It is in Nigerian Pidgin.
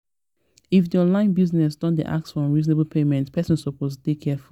if di online business don dey ask for unreasonable payment person suppose dey careful